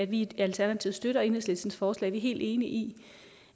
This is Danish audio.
vi i alternativet støtter enhedslistens forslag vi er helt enige i